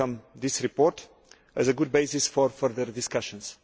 We welcome this report, therefore, as a good basis for further discussions.